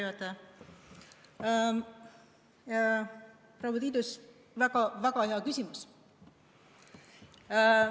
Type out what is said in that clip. Aitäh, proua Tiidus, väga hea küsimus!